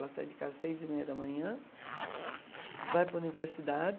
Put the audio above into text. Ela sai de casa às seis e meia da manhã, vai para a universidade.